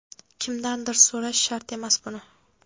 Kimdandir so‘rash shart emas buni.